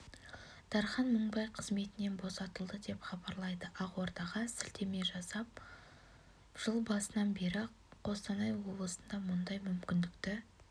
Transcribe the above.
дархан мыңбай қызметінен босатылды деп хабарлайды ақордаға сілтеме жасап жыл басынан бері қостанай облысында мұндай мүмкіндікті